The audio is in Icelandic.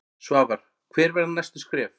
Svavar: Hver verða næstu skref?